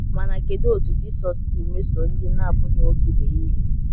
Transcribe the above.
Mana kedụ otú Jisọs si mesoo ndị na - abụghị nwoke ibe ya ihe?